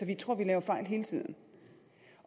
de tror at de laver fejl hele tiden